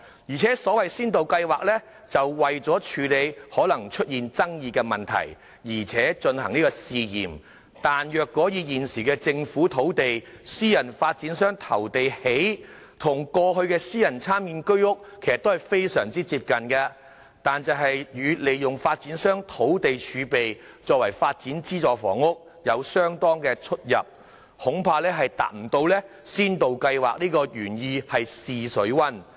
而且先導計劃是為了處理可能出現爭議的問題而進行試驗，但是，若以現時政府出地，私人發展商投地興建，與過去的私人參建居屋其實非常接近，但與利用發展商土地儲備為發展資助房屋有相當出入，恐怕未能達到先導計劃試水溫的原意。